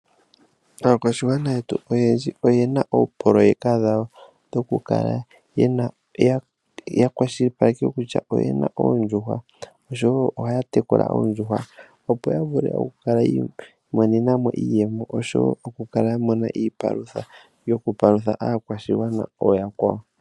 Aakwashigwana yetu oyendji oyena oopololeka dhawo dhokukala ya kwashilipaleka kutya oyena oondjuhwa oshowo ohaya tekula oondjuhwa. Opo ya vuke oku kala yi imonena mo iiyemo oaho wo okukala ya mona iipalutha yokupalutha aakwashigwana ooyakwawo.